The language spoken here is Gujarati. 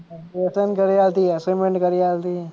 લેસન કરી આલતી અસાઇમેંટ કરી આલતી.